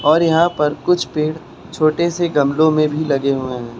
और यहां पर कुछ पेड़ छोटे से गमलों में भी लगे हुए है।